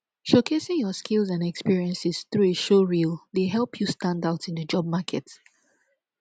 showcasing your skills and experiences through a showreel dey help you stand out in di job market